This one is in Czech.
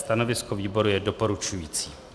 Stanovisko výboru je doporučující.